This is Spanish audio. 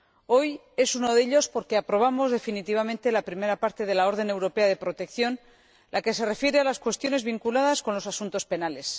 Hoy es uno de ellos porque aprobamos definitivamente la primera parte de la orden europea de protección, la que se refiere a las cuestiones vinculadas con los asuntos penales.